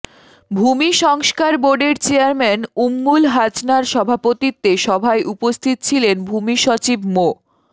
ভূমি সংস্কার বোর্ডের চেয়ারম্যান উম্মুল হাছনার সভাপতিত্বে সভায় উপস্থিত ছিলেন ভূমিসচিব মো